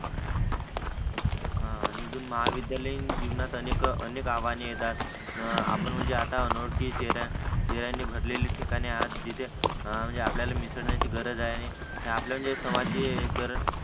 आणि महाविद्यालयिन जीवनात अनेक अनेक आवाहने येतात आपण म्हणजे आता अनोळखी चेहर्यानि भरलेली ठिकाण आहे जिथे म्हणजे आपल्यला मिसळण्याची गरज आहे हे आपले जे समाज जे करण